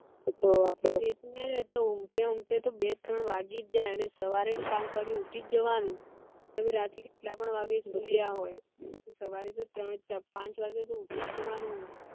એ તો હે ને ઉન્ગ્તે ઉન્ગ્તે તો બે ત્રણ વાગી જ જાયે અને સવારે તો પાંચ વાગે ઉઠી જ જવાનું હોય રાતે કેટલા પણ વાગે સુયા હોય સવારે પાંચ વાગે તો ઉઠી જ જવાનું હોય